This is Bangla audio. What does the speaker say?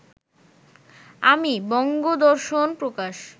আমি বঙ্গদর্শন প্রকাশ